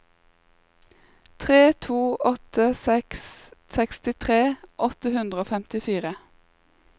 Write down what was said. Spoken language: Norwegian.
tre to åtte seks sekstitre åtte hundre og femtifire